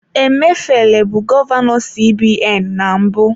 Emefiele bụ gọvanọ CBN na mbụ.